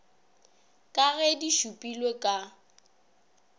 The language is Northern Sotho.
ka ge di šupilwe ka